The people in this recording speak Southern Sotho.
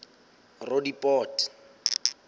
roodepoort